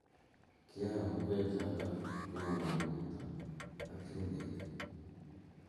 kiayoo ngwek choto ko mamii mwaita ak chumbik